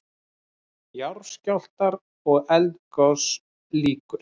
JARÐSKJÁLFTAR OG ELDGOS LÝKUR